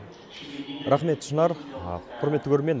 рақмет шынар құрметті көрермен